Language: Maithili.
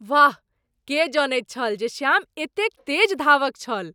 वाह! के जनैत छल जे श्याम एतेक तेज धावक छल?